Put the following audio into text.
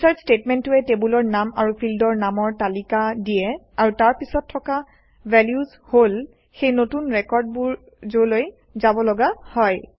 insert ষ্টেটমেণ্টটোৱে টেবুলৰ নাম আৰু ফিল্ডৰ নামৰ তালিকা দিয়ে আৰু তাৰ পিছত থকা ভেলুজ হল সেই নতুন ৰেকৰ্ডবোৰ যলৈ যাবলগা হয়